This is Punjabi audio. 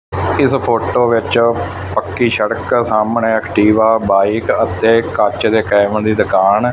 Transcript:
ਇਸ ਫੋਟੋ ਵਿੱਚ ਪੱਕੀ ਸੜਕ ਸਾਹਮਣੇ ਐਕਟੀਵਾ ਬਾਈਕ ਅਤੇ ਕੱਚ ਦੇ ਕੈਮ ਲਈ ਦੁਕਾਨ।